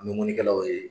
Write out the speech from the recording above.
An bɛ mɔni kɛlaw ye